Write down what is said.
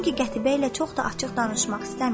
Çünki qətiyyə ilə çox da açıq danışmaq istəmirdi.